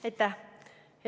Aitäh!